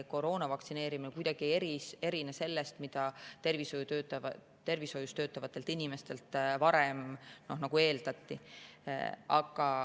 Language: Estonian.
Koroona vastu vaktsineerimine ei erine kuidagi sellest, mida tervishoius töötavatelt inimestelt varem eeldati.